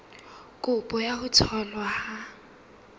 kopo ya ho tholwa ha